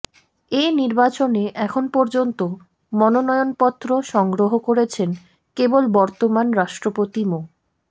এ নির্বাচনে এখন পর্যন্ত মনোনয়নপত্র সংগ্রহ করেছেন কেবল বর্তমান রাষ্ট্রপতি মো